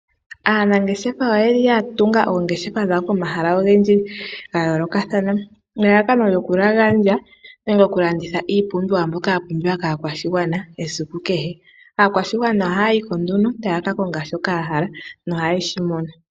Aanangeshefa oye li yatunga oongeshefa dhawo pomahala ogendji gayoolokathana ngaashi nelalakano lyokulandulitha iipumbiwa mbyoka yapumbiwa kaakwashigwana esiku kehe. Aakwashigwana ohayi ko nduno tayaka konga shoka yahala nohayeshi mono.